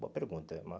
Boa pergunta, irmã.